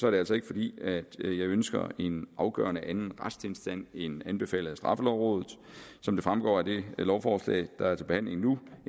er det altså ikke fordi jeg ønsker en afgørende anden retstilstand end anbefalet af straffelovrådet som det fremgår af det lovforslag der er til behandling nu